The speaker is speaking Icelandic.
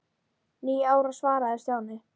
Níu ára svaraði Stjáni.